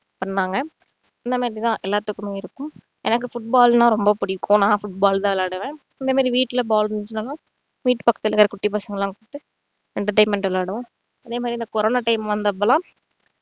பண்ணாங்க இந்த மாதிரி தான் எல்லாத்துக்குமே இருக்கும் எனக்கு football னா ரொம்ப புடிக்கும் நான் football தான் விளையாடுவன் இந்த மாதிரி வீட்டுல ball இருந்துச்சுன்னா வீட்டு பக்கத்துல இருக்க குட்டி பசங்க எல்லாம் கூப்பிட்டு entertainment ஆ விளையாடுவம் அதே மாதிரி இந்த கொரோனா time வந்தப்போ எல்லாம்